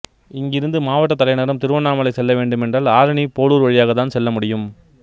இங்கிருந்து மாவட்ட தலைநகரம் திருவண்ணாமலை செல்லவேண்டும் என்றால் ஆரணி போளூர் வழியாக தான் செல்லமுடியும்